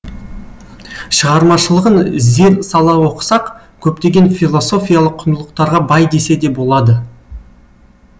шығармашылығын зер сала оқысақ көптеген философиялық құндылықтарға бай десе де болады